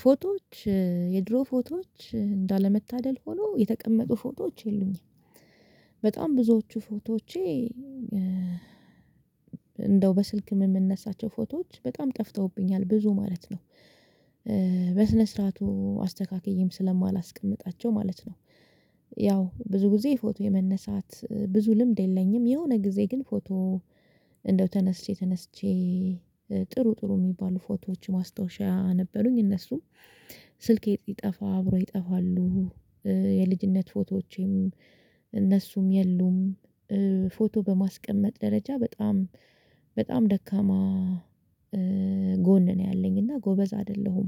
ፎቶዎች የድሮ ፎቶዎች እንዳለመታደል ሆኖ የተቀመጡ ፎቶዎች የሉኝም። በጣም ብዙዎቹ ፎቶዎቼ እንደው በስልክ የምንነሳቸው ፎቶዎች በጣም ጠፍተውብኛል ብዙ ማለት ነው። በስነ ስርዓቱ አስተካክዬም ስለማላስቀምጣቸው ማለት ነው። ያው ብዙ ጊዜ ፎቶ የመነሳት ብዙ ልምድ የለኝም። የሆነ ጊዜ ግን ፎቶ እንደው ተነስቼ ተነስቼ ጥሩ ጥሩ የሚባሉ ፎቶዎች ማስታወሻ ነበሩኝ። እነሱም ስልኬ ስጠፋ አብሮ ይጠፋሉ። የልጅነት ፎቶዎቼም እነሱም የሉም። ፎቶ በማስቀመጥ ደረጃ በጣም በጣም ደካማ ጎን ነው ያለኝ እና ጎበዝ አይደለሁም።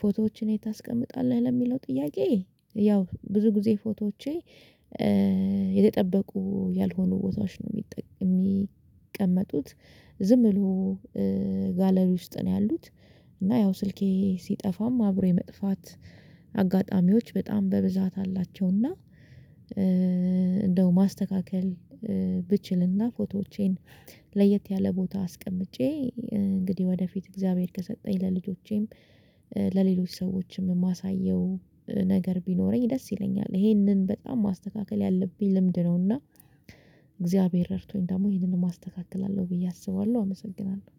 ፎቶዎችን የት ታስቀምጣለህ? ለሚለው ጥያቄ ያው ብዙ ጊዜ ፎቶዎቼ የተጠበቁ ያልሆኑ ቦታዎች ነው የሚቀመጡት። ዝም ብሎ ጋለሪ ውስጥ ነው ያሉት እና ያው ስልኬ ሲጠፋም አብሮ የመጥፋት አጋጣሚዎች በጣም በብዛት አላቸው አላቸው። እና እንደው ማስተካከል ብችልና ፎቶዎቼን ለየት ያለ ቦታ አስቀምጬ፤ እንግዲህ ወደፊት እግዚአብሔር ከሰጠኝ ለልጆቼም፤ ለሌሎች ሰዎችም የማሳየው ነገር ቢኖረኝ ደስ ይለኛል፤ ይሄንን በጣም ማስተካከል ያለብኝ ልምድ ነው። እና እግዚአብሔር ረድቶኝ ደግሞ ይሄንን አስተካክላለሁ ብዬ አስባለሁ አመሰግናለሁ።